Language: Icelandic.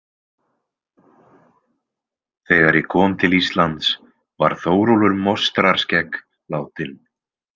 Þegar ég kom til Íslands var Þórólfur Mostrarskegg látinn.